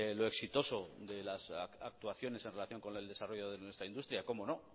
lo exitoso de las actuaciones en relación con el desarrollo de nuestra industria como no